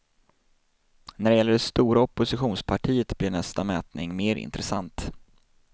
När det gäller det stora oppositionspartiet blir nästa mätning mer intressant.